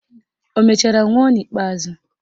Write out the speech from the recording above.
Ọ mechara nwụọ n'ikpeazụ?